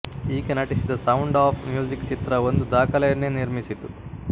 ಈಕೆ ನಟಿಸಿದ sound of music ಚಿತ್ರ ಒಂದು ದಾಖಲೆಯನ್ನೇ ನಿರ್ಮಿಸಿತು